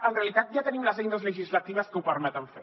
en realitat ja tenim les eines legislatives que ho permeten fer